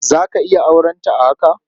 Za ka iya aurenta a haka?